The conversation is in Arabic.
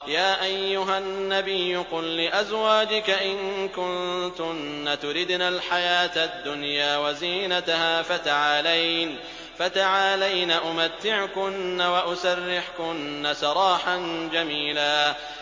يَا أَيُّهَا النَّبِيُّ قُل لِّأَزْوَاجِكَ إِن كُنتُنَّ تُرِدْنَ الْحَيَاةَ الدُّنْيَا وَزِينَتَهَا فَتَعَالَيْنَ أُمَتِّعْكُنَّ وَأُسَرِّحْكُنَّ سَرَاحًا جَمِيلًا